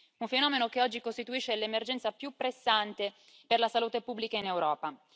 Un fenomeno che oggi costituisce l'emergenza più pressante per la salute pubblica in Europa.